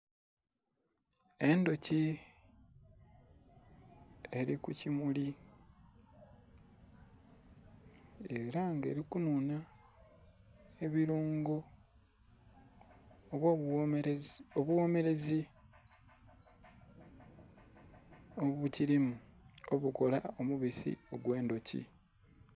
Endhuki eli ku kimuli ela nga eli kunhunha ebilungo oba obughomerezi obukilimu obukola omubisi ogwe ndhuki.